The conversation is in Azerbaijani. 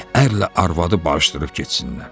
Ərlə arvadı bağışdırıb getsinlər.